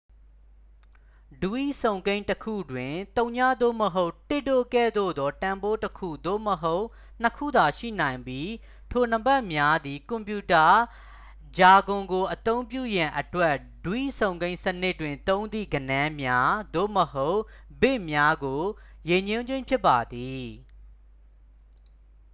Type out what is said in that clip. ဒွိစုံကိန်းတစ်ခုတွင် 0 သို့မဟုတ် 1 တို့ကဲ့သို့သော တန်ဖိုးတစ်ခု သို့မဟုတ် နှစ်ခုသာ ရှိနိုင်ပြီး ထိုနံပါတ်များသည် ကွန်ပြူတာ ဂျာဂွန်ကိုအသုံးပြုရန်အတွက် ဒွိစုံကိန်းစနစ်တွင် သုံးသည့်ဂဏန်းများ သို့မဟုတ် ဘစ်များကို ရည်ညွှန်းခြင်းဖြစ်ပါသည်